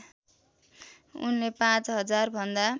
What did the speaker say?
उनले पाँच हजारभन्दा